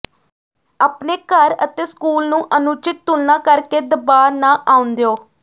ਆਪਣੇ ਘਰ ਅਤੇ ਸਕੂਲ ਨੂੰ ਅਨੁਚਿਤ ਤੁਲਨਾ ਕਰਕੇ ਦਬਾਅ ਨਾ ਆਉਣ ਦਿਓ